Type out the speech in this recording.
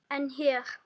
En hér?